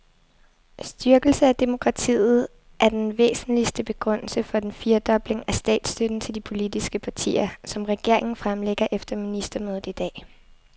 Styrkelse af demokratiet er den væsentligste begrundelse for den firedobling af statsstøtten til de politiske partier, som regeringen fremlægger efter ministermødet i dag.